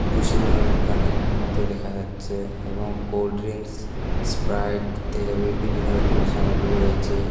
ভূষিমাল দোকানের মতো দেখা যাচ্ছে এবং কোল্ডড্রিঙ্কস স্প্রাইট তেল বিভিন্ন রকমের সামগ্রী রয়েছে।